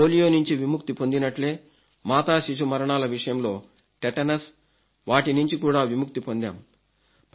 మనం పోలియో నుంచి విముక్తి పొందినట్లే మాతా శిశు మరణాల విషయంలో టెటనస్ వాటి నుంచి కూడా విముక్తి పొందాము